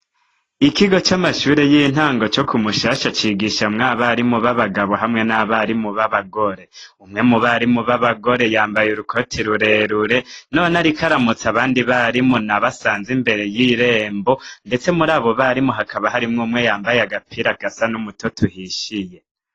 Ikigo c'amashure y'intango co ku Mushasha cigishamwo abarimu b'abagabo hamwe n'abarimu b'abagore. Umwe mu barimu b'abagore yambaye urukoti rurerure, none ariko aramutsa abandi barimu nabo asanze imbere y'irembo, ndetse muri abo barimu hakaba harimwo umwe yamabye agapira gasa n'umutoto uhishiye.